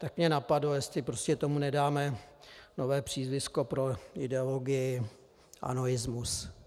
Tak mě napadlo, jestli prostě tomu nedáme nové přízvisko pro ideologii anoismus.